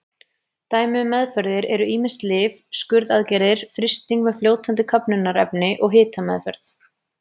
Dæmi um meðferðir eru ýmis lyf, skurðaðgerðir, frysting með fljótandi köfnunarefni og hitameðferð.